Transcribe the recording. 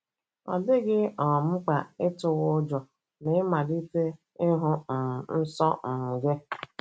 Ọ dịghị um mkpa ịtụwa ụjọ ma ị malite ịhụ um nsọ um gị